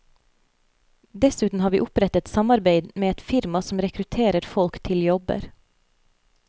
Dessuten har vi opprettet samarbeid med et firma som rekrutterer folk til jobber.